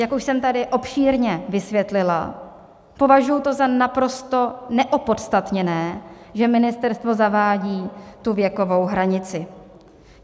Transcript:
Jak už jsem tady obšírně vysvětlila, považuji to za naprosto neopodstatněné, že ministerstvo zavádí tu věkovou hranici.